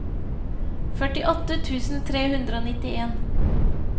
førtiåtte tusen tre hundre og nittien